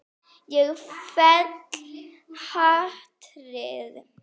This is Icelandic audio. Ég fel hatrið.